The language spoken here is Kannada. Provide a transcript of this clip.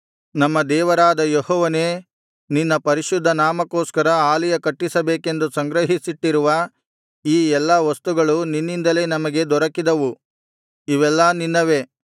ನಮ್ಮ ದೇವರಾದ ಯೆಹೋವನೇ ನಿನ್ನ ಪರಿಶುದ್ಧ ನಾಮಕ್ಕೋಸ್ಕರ ಆಲಯ ಕಟ್ಟಿಸಬೇಕೆಂದು ಸಂಗ್ರಹಿಸಿಟ್ಟಿರುವ ಈ ಎಲ್ಲಾ ವಸ್ತುಗಳು ನಿನ್ನಿಂದಲೇ ನಮಗೆ ದೊರಕಿದವು ಇವೆಲ್ಲಾ ನಿನ್ನವೇ